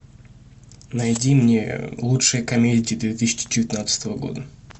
найди мне лучшие комедии две тысячи девятнадцатого года